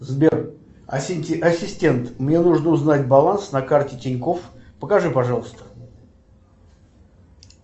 сбер ассистент мне нужно узнать баланс на карте тинькофф покажи пожалуйста